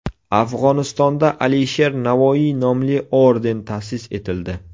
Afg‘onistonda Alisher Navoiy nomli orden ta’sis etildi.